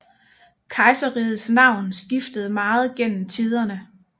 Kejserrigets navn skiftede meget gennem tiderne